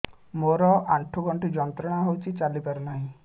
ମୋରୋ ଆଣ୍ଠୁଗଣ୍ଠି ଯନ୍ତ୍ରଣା ହଉଚି ଚାଲିପାରୁନାହିଁ